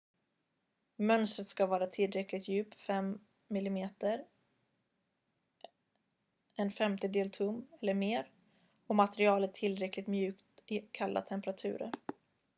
mönstret ska vara tillräckligt djupt 5 mm 1/5 tum eller mer och materialet tillräckligt mjukt i kalla temperaturer